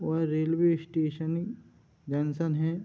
और railway station junction है।